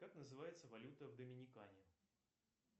как называется валюта в доминикане